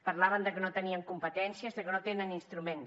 parlaven de que no tenien competències de que no tenen instruments